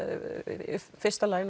í fyrsta lagi